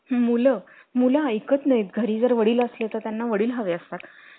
अं त्यांला द्यायचं मग आपण कसं